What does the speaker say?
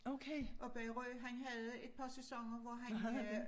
Oppe i Rø han havde et par sæsoner hvor han øh